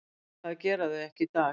Það gera þau ekki í dag.